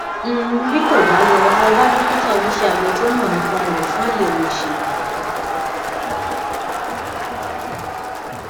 um bí kò bá lọ lọ bá dókítà oníṣẹabẹ tó mọ nípa rẹ fún àyẹwò ìṣègùn